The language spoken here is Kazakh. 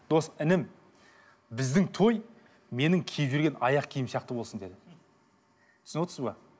дос інім біздің той менің киіп жүрген аяқ киімім сияқты болсын деді түсініп отырсыз ба